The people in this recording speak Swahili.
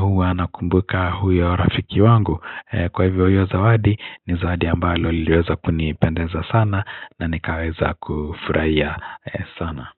Huwa nakumbuka huyo rafiki wangu. Kwa hivyo hiyo zawadi ni zawadi ambalo liweza kunipendeza sana na nikaweza kufrahia sana.